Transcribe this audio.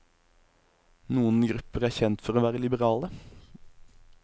Noen grupper er kjent for å være liberale.